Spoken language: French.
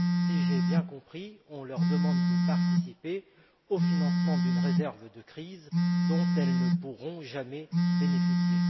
Si j'ai bien compris, on leur demande de participer au financement d'une réserve de crise dont elles ne pourront jamais bénéficier.